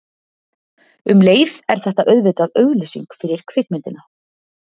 Um leið er þetta auðvitað auglýsing fyrir kvikmyndina.